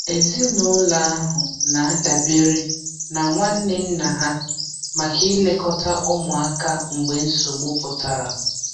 Ezinụlọ ahụ na-adabere na nwanne nna ha maka ilekọta ụmụaka mgbe nsogbu pụtara.